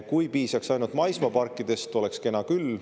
Kui piisaks ainult maismaaparkidest, oleks kena küll.